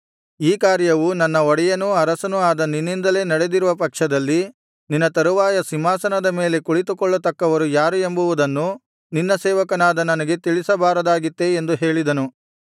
ಈ ಕಾರ್ಯವು ನನ್ನ ಒಡೆಯನೂ ಅರಸನೂ ಆದ ನಿನ್ನಿಂದಲೇ ನಡೆದಿರುವ ಪಕ್ಷದಲ್ಲಿ ನಿನ್ನ ತರುವಾಯ ಸಿಂಹಾಸನದ ಮೇಲೆ ಕುಳಿತುಕೊಳ್ಳತಕ್ಕವರು ಯಾರು ಎಂಬುವುದನ್ನು ನಿನ್ನ ಸೇವಕನಾದ ನನಗೆ ತಿಳಿಸಬಾರದಾಗಿತ್ತೇ ಎಂದು ಹೇಳಿದನು